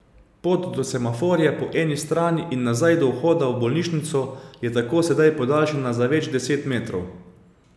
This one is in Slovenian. Pot do semaforja po eni strani in nazaj do vhoda v bolnišnico je tako sedaj podaljšana za več deset metrov.